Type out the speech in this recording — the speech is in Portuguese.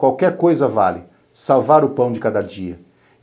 Qualquer coisa vale salvar o pão de cada dia.